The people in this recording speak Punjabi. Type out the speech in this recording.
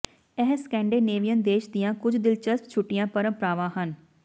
ਇਹ ਸਕੈਂਡੇਨੇਵੀਅਨ ਦੇਸ਼ ਦੀਆਂ ਕੁਝ ਦਿਲਚਸਪ ਛੁੱਟੀਆਂ ਪਰੰਪਰਾਵਾਂ ਹਨ